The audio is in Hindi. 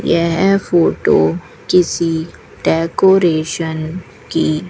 यह फोटो किसी डेकोरेशन की--